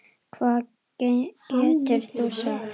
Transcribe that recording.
Hvað getur þú sagt?